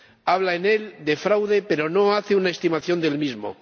Habla en él de fraude, pero no hace una estimación del mismo.